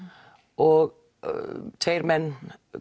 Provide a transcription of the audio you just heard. og tveir menn